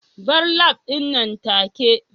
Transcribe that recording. bar lab din nan take